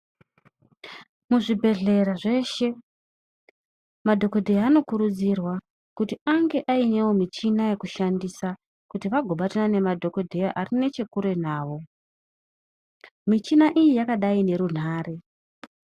Muzvibhedhlera zveshe madhokodheya anokurudzirwa kuti ange Ainewo michina yekushandisa Kuti vagobatana nemadhokodheya Ari nechekuretu nawo michina iyi yakadai nerunhare.